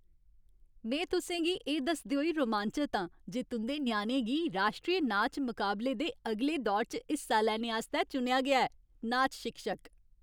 में तुसें गी एह् दसदे होई रोमांचत आं जे तुं'दे ञ्याणे गी राश्ट्री नाच मकाबले दे अगले दौर च हिस्सा लैने आस्तै चुनेआ गेआ ऐ। नाच शिक्षक